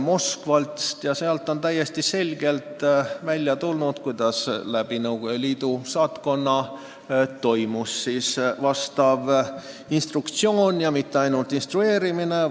Nii on selgunud, kuidas instrueerimine toimus Nõukogu Liidu saatkonna kaudu, ja mitte ainult instrueerimine.